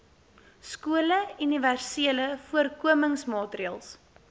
skole universele voorkomingsmaatreëls